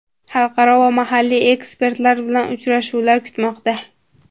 xalqaro va mahalliy ekspertlar bilan uchrashuvlar kutmoqda!.